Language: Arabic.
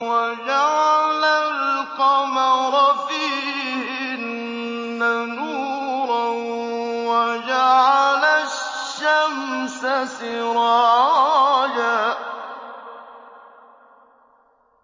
وَجَعَلَ الْقَمَرَ فِيهِنَّ نُورًا وَجَعَلَ الشَّمْسَ سِرَاجًا